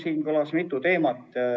Siin kõlas mitu teemat.